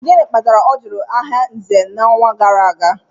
Gịnị kpatara ọ jụrụ aha Nze n'ọnwa gara aga?